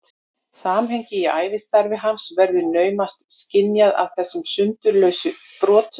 Samhengið í ævistarfi hans verður naumast skynjað af þessum sundurlausu brotum.